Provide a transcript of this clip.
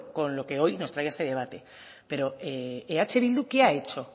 con lo que hoy nos trae a este debate pero eh bildu qué ha hecho